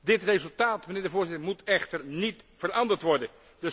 Dit resultaat, mijnheer de Voorzitter, moet echter niet veranderd worden.